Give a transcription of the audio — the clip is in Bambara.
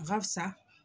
Barisa